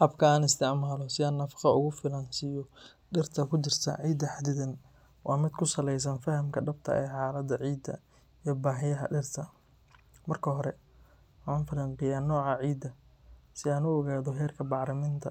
Habka aan isticmaalo si aan nafaqo ugu filan siiyo dirta ku jirta ciida xaddidan waa mid ku saleysan fahamka dhabta ah ee xaaladda ciidda iyo baahiyaha dhirta. Marka hore, waxaan falanqeeyaa nooca ciidda, si aan u ogaado heerka bacriminta,